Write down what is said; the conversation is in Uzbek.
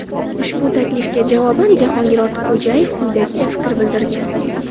Ushbu taklifga javoban Jahongir Ortiqxo‘jayev quyidagicha fikr bildirgan.